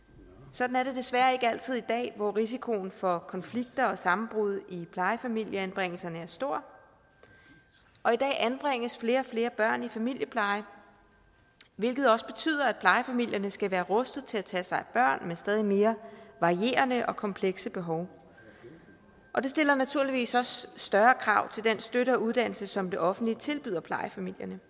sådan er det desværre ikke altid i dag hvor risikoen for konflikter og sammenbrud i plejefamilieanbringelserne er stor og i dag anbringes flere og flere børn i familiepleje hvilket også betyder at plejefamilierne skal være rustet til at tage sig af børn med stadig mere varierende og komplekse behov det stiller naturligvis også større krav til den støtte og uddannelse som det offentlige tilbyder plejefamilierne